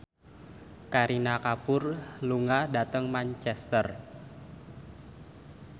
Kareena Kapoor lunga dhateng Manchester